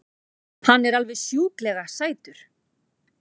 Hann er alveg sjúklega sætur!